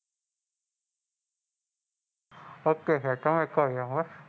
Okay સાહેબ તમે કો એવું બસ,